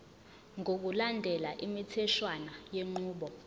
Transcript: ngokulandela imitheshwana yenqubo